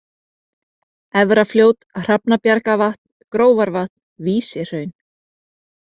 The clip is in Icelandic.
Efrafljót, Hrafnabjargavatn, Grófarvatn, Vísihraun